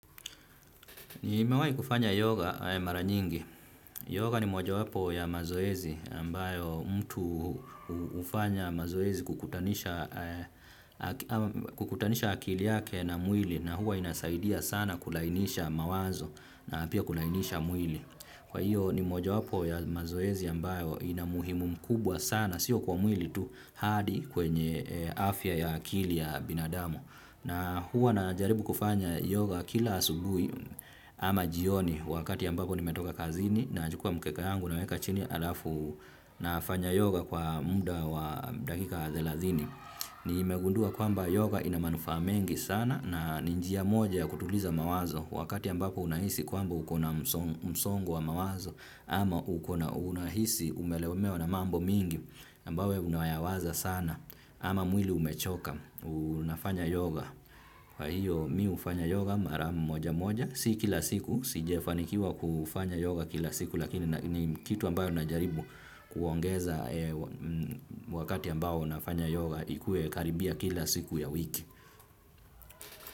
Nimewahi kufanya yoga mara nyingi. Yoga ni mojawapo ya mazoezi ambayo mtu hufanya mazoezi kukutanisha kukutanisha akili yake na mwili na huwa inasaidia sana kulainisha mawazo na pia kulainisha mwili. Kwa hio ni mojawapo ya mazoezi ambayo ina muhimu mkubwa sana sio kwa mwili tu hadi kwenye afya ya akili ya binadamu. Na huwa najaribu kufanya yoga kila asubuhi ama jioni wakati ambapo nimetoka kazini nachukua mkeka yangu naweka chini alafu nafanya yoga kwa muda wa dakika thelathini. Nimegundua kwamba yoga ina manufaa mengi sana na ni njia moja ya kutuliza mawazo wakati ambapo unahisi kwamba ukona msongo wa mawazo ama ukona, unahisi umelemewa na mambo mingi. Ambayo unayawaza sana ama mwili umechoka unafanya yoga. Kwa hiyo mimi hufanya yoga mara moja moja si kila siku, sijafanikiwa kufanya yoga kila siku. Lakini ni kitu ambayo na jaribu kuongeza wakati ambao nafanya yoga ikue karibia kila siku ya wiki.